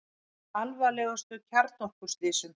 Með alvarlegustu kjarnorkuslysum